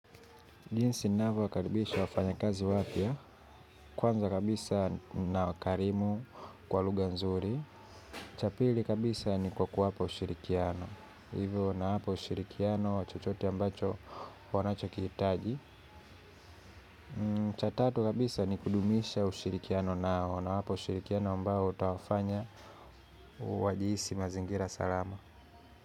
Jinsi ninavyo wakaribisha wafanya kazi wapya kwanza kabisa na wakarimu kwa lugha nzuri. Cha pili kabisa ni kwa kuwapo ushirikiano, hivyo nawapo ushirikiano wa chochote ambacho wanachokihitaji cha tatu kabisa ni kudumisha ushirikiano nao na hapo ushirikiano mbao utawafanya wajihisi mazingira salama.